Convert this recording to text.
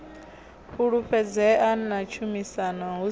fhulufhedzea na tshumisano hu si